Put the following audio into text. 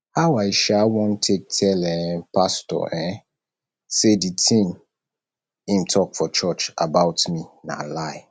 how i um wan take tell um pastor um sey di tin wey im talk for church about me na lie